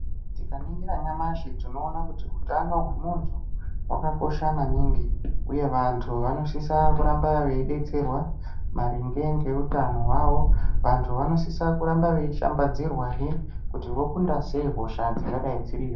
Tikaningira nyamashi tinoona kuti hutano hwemuntu hwakakosha maningi uye vantu vanosisa kuramba veidetserwa maringe ngeutano hwavo vantu vanosisa kuramba veishambadzirwahe kuti vokunda sei hosha dzingadai dziriyo.